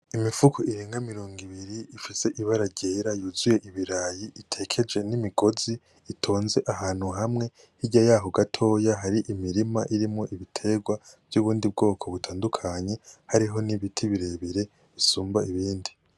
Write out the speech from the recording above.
Imifuka irenga mirongo ibiri yuzuye ibirayi itekeje N’imigozi itonze ahantu hamwe hirya yaho gatoya hari imirima y’ibindi biterwa vyo m'ubwoko butandukanye hariho n’ibiti bire bire bisumba ibindi.